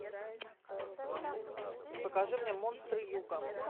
покажи мне монстры юга